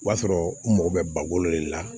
O b'a sɔrɔ n mago bɛ ba wolo de la